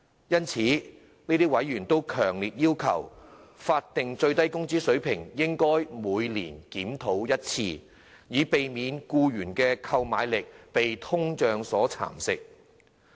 因此，這些委員強烈要求，法定最低工資水平應每年檢討一次，以避免僱員的購買力被通脹蠶食。